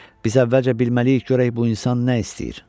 Biz əvvəlcə bilməliyik görək bu insan nə istəyir.